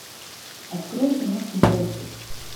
открой киношку брексит